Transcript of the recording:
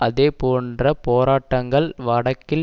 அதே போன்ற போராட்டங்கள் வடக்கில்